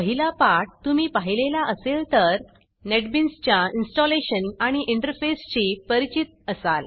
पहिला पाठ तुम्ही पाहिलेला असेल तर नेटबीन्सच्या इन्स्टॉलेशन आणि इंटरफेसशी परिचित असाल